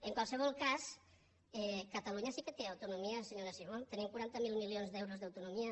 en qualsevol cas catalunya sí que té autonomia senyora simó tenim quaranta miler milions d’euros d’autonomia